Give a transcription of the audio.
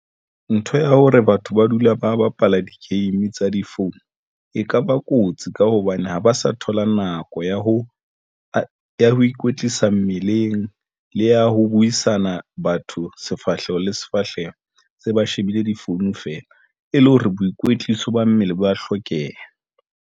Ntho ya hore batho ba dula ba bapala di game tsa di phone e kaba kotsi ka hobane ha ba sa thola nako ya ho ikwetlisa meleng le ya ho buisana batho sefahleho le sefahleho se ba shebile di-phone feela e le hore boikwetliso ba mmele ba hlokeha.